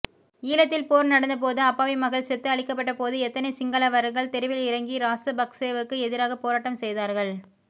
ஈழத்தில் போர் நடந்தபோது அப்பாவி மக்கள் செத்து அழிக்கபட்டபோது எத்தனை சிங்களவர்கள் தெருவில் இறங்கி இராசபக்சேவுக்கு எதிராக போராட்டம் செய்தார்கள்